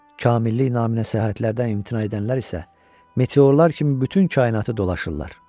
Kamillik naminə səyahətlərdən imtina edənlər isə meteorlar kimi bütün kainatı dolaşırlar.